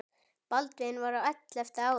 Baldvin var á ellefta ári.